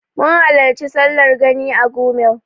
Mun halarci sallar Gani a Gumel.